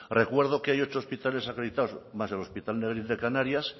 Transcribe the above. recuerdo que hay ocho hospitales acreditados más el hospital negrín de canarias